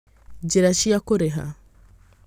Njĩra cia Kũrĩha: